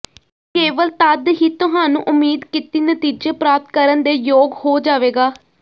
ਕੇਵਲ ਤਦ ਹੀ ਤੁਹਾਨੂੰ ਉਮੀਦ ਕੀਤੀ ਨਤੀਜੇ ਪ੍ਰਾਪਤ ਕਰਨ ਦੇ ਯੋਗ ਹੋ ਜਾਵੇਗਾ